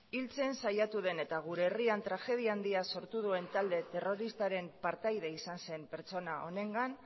hiltzen saiatu den eta gure herrian tragedia handia sortu duen talde terroristaren partaide izan zen pertsona honengan